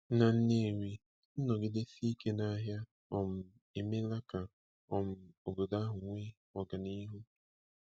Na Nnewi, nnọgidesi ike n'ahịa um emeela ka um obodo ahụ nwee ọganihu.